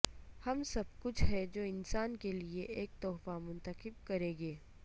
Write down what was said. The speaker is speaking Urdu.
ہم سب کچھ ہے جو انسان کے لئے ایک تحفہ منتخب کریں گے